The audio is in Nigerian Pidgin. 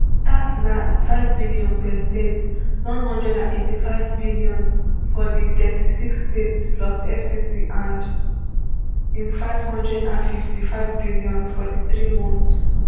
dat na nfive billion per state n one hundred and eighty-five billion for di thirty-six states plus fct and nfive hundred and fifty-five billion for di three months